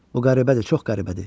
Bu qəribədir, çox qəribədir.